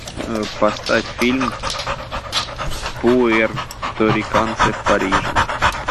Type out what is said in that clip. поставь фильм пуэрториканцы в париже